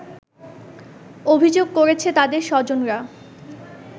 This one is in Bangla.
অভিযোগ করেছে তাদের স্বজনরা